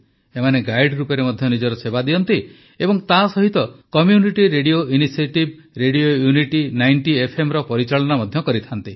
ଏମାନେ ଗାଇଡ୍ ରୂପରେ ମଧ୍ୟ ନିଜ ସେବା ଦିଅନ୍ତି ଏବଂ ତାସହିତ କମ୍ୟୁନିଟି ରେଡିଓ ଇନିସିଏଟିଭ୍ରେଡିଓ ୟୁନିଟି ୯୦ ଏଫ୍ଏମର ପରିଚାଳନା ମଧ୍ୟ କରନ୍ତି